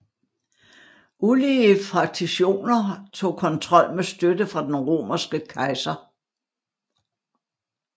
Ulige fraktijoner tog kontrol med støtte fra den romerske kejser